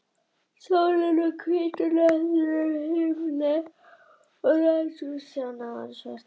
Sólin var hvítur hnöttur á bláum himni, og rætur trjánna voru svartar.